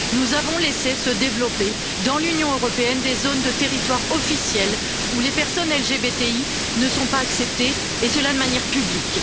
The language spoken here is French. Nous avons laissé se développer, dans l'Union européenne, des zones de territoire officielles où les personnes LGBTI ne sont pas acceptées, et cela de manière publique.